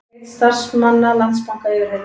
Einn starfsmanna Landsbanka yfirheyrður